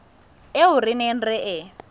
eo re neng re e